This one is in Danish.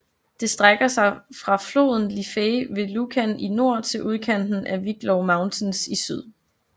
Det strækker sig fra fra floden Liffey ved Lucan i nord til udkanten af Wicklow Mountains i syd